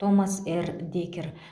томас р декер